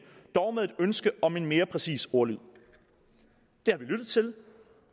dog med et ønske om en mere præcis ordlyd det har vi lyttet til